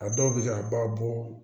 A dɔw bɛ se ka ba bɔ